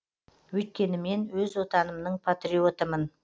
өйткені мен өз отанымның патриотымын